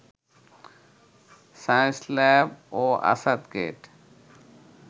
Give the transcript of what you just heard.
Science Lab ও আসাদগেইট